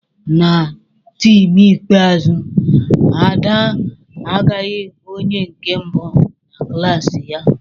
Na taam ikpeazụ a, Ada a gbaghị onye nke mbụ na klaasị ya.